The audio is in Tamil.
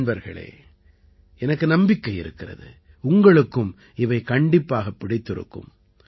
நண்பர்களே எனக்கு நம்பிக்கை இருக்கிறது உங்களுக்கும் இவை கண்டிப்பாகப் பிடித்திருக்கும்